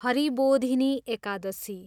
Haribodhini Ekadashi